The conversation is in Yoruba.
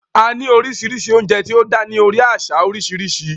A ní oríṣiríṣi oúnjẹ tí ó dá ní orí àṣà oríṣiríṣi